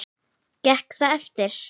Gekk það eftir.